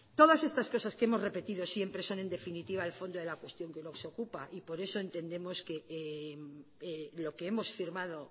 todas estas cosas que hemos repetido siempre son en definitiva el fondo de la cuestión que nos ocupa y por eso entendemos que lo que hemos firmado